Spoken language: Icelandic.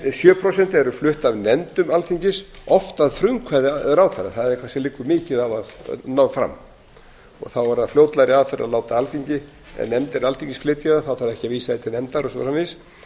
sjö prósent eru flutt af nefndum alþingis oft að frumkvæði ráðherra það kannski liggur mikið á að ná fram og þá er það fljótlegra aðferð að láta alþingi eða nefndir alþingis flytja það þá þarf ekki að vísa því til nefndar og svo framvegis